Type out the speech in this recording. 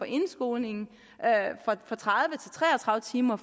indskolingen fra tredive til tre og tredive timer